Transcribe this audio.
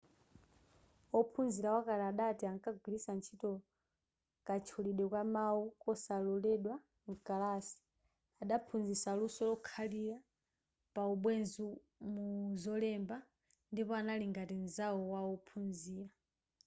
ophunzira wakale adati ‘ankagwiritsa ntchito katchulidwe ka mawu kosaloledwa mkalasi adaphunzitsa luso lokhalira pa ubwenzi muzolemba ndipo anali ngati nzawo wa ophunzira.’